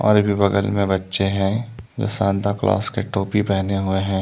और बगल में बच्चे हैं जो सांता क्लास के टोपी पहने हुए हैं।